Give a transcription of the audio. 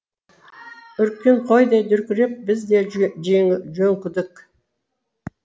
үріккен қойдай дүркіреп біз де жөңкілдік